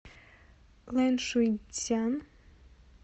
лэншуйцзян